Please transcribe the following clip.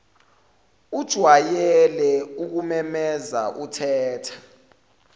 ujwayele ukumemeza uthetha